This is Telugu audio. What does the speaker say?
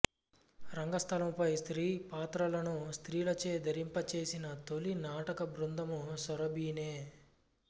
రంగస్థలముపై స్త్రీ పాత్రలను స్త్రీలచే ధరింపచేసిన తొలి నాటక బృందము సురభినే